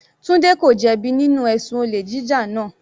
Tunde ko jẹ bi nínú ẹ̀sùn olè jíjà náà.